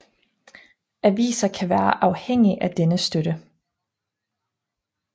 Aviser kan være afhængig af denne støtte